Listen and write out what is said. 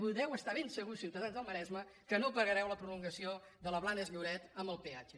podeu estar ben segurs ciutadans del maresme que no pagareu la prolongació de la blanes lloret amb el peatge